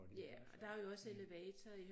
Ja og der jo også elevator i